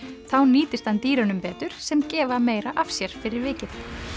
þá nýtist hann dýrunum betur sem gefa meira af sér fyrir vikið